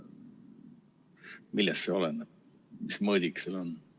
Millest see oleneb, mis mõõdik seal on?